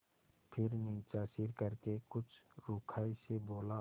फिर नीचा सिर करके कुछ रूखाई से बोला